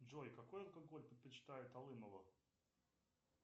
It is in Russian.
джой какой алкоголь предпочитает алымова